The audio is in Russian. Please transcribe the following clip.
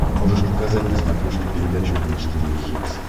можешь показать на смотрешке передачу бридж тв хитс